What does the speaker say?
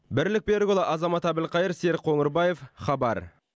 бірлік берікұлы азамат әбілқайыр серік қоңырбаев хабар